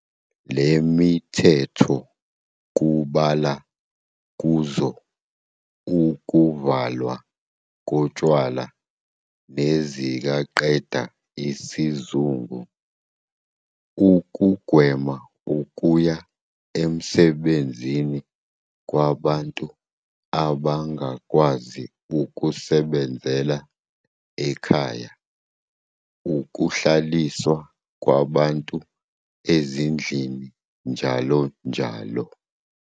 Lemithetho kubala kuzo ukuvala kotshwala nezikaqeda isizungu, ukugwema ukuya emsebenzini kwabantu abangakwazi ukusebenzela ikhaya, ukuhlaliswa kwabantu ezindlini njll.